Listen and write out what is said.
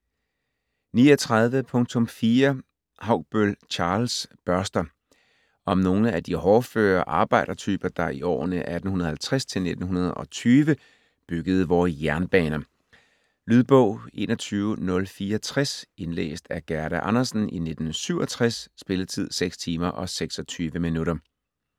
39.4 Haugbøll, Charles: Børster Om nogle af de hårdføre arbejdertyper, der i årene 1850-1920 byggede vore jernbaner. Lydbog 21064 Indlæst af Gerda Andersen, 1967. Spilletid: 6 timer, 26 minutter.